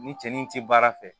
Ni cɛnni in ti baara fɛ